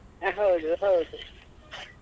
ಹೌದು ಹೌದು.